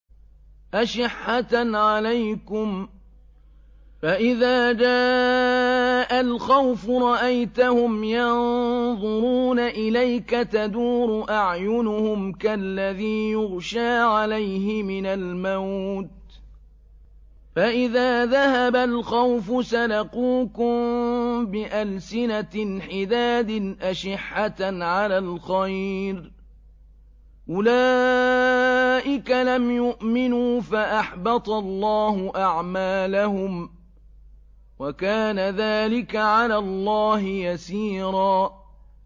أَشِحَّةً عَلَيْكُمْ ۖ فَإِذَا جَاءَ الْخَوْفُ رَأَيْتَهُمْ يَنظُرُونَ إِلَيْكَ تَدُورُ أَعْيُنُهُمْ كَالَّذِي يُغْشَىٰ عَلَيْهِ مِنَ الْمَوْتِ ۖ فَإِذَا ذَهَبَ الْخَوْفُ سَلَقُوكُم بِأَلْسِنَةٍ حِدَادٍ أَشِحَّةً عَلَى الْخَيْرِ ۚ أُولَٰئِكَ لَمْ يُؤْمِنُوا فَأَحْبَطَ اللَّهُ أَعْمَالَهُمْ ۚ وَكَانَ ذَٰلِكَ عَلَى اللَّهِ يَسِيرًا